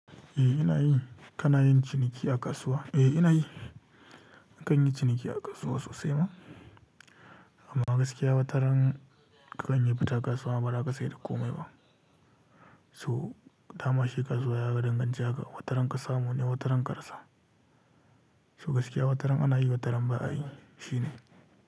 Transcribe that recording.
Eh ina yi. Kana yin ciniki a kasuwa? Eh ina yi. Nakan yi ciniki a kasuwa sosai ma? Amma gaskiya wataran kakan yi fita kasuwa ba zaka sai da komai ba. So dama shi kasuwa ya ga danganci hakan wataran kasamune wataran karasa. So gaskiya wataran ana yi wataran ba a yi shine.